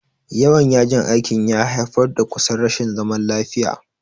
Yawan yajin aikin ya haifar da kusan rashin zaman lafiya.